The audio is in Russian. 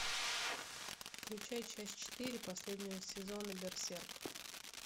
включай часть четыре последнего сезона берсерк